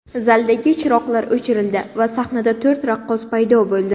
Zaldagi chiroqlar o‘chirildi va sahnada to‘rt raqqos paydo bo‘ldi.